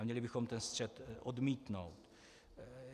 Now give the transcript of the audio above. A měli bychom ten střet odmítnout.